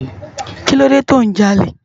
Kilódé tó n já ólé?